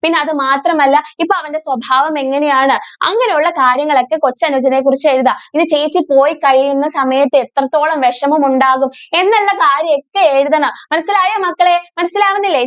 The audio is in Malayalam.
പിന്നെ അത് മാത്രം അല്ല ഇപ്പൊ അവന്റെ സ്വഭാവം എങ്ങനെ ആണ് അങ്ങനെ ഉള്ള കാര്യങ്ങൾ ഒക്കെ കൊച്ചനുജനെ കുറിച്ച് എഴുതാം പിന്നെ ചേച്ചി പോയി കഴിയുന്ന സമയത്ത് എത്രത്തോളം വിഷമം ഉണ്ടാകും എന്നുള്ള കാര്യം ഒക്കെ എഴുതണം മനസ്സിലായോ മക്കളെ മനസിലാകുന്നില്ലേ?